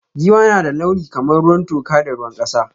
Giwa na da launi kamar ruwan toka da ruwan kasa.